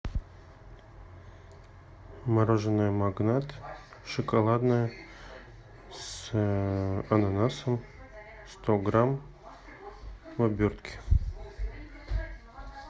мороженое магнат шоколадное с ананасом сто грамм в обертке